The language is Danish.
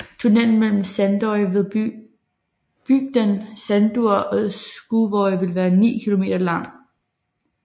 Tunnelen mellem Sandoy ved bygden Sandur og Skúvoy vil være 9 kilometer lang